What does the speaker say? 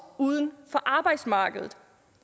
uden for arbejdsmarkedet